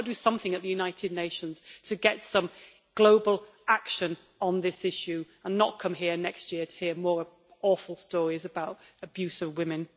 Can we not do something at the United Nations to get some global action on this issue, and not come here next year to hear more awful stories about abuse of women?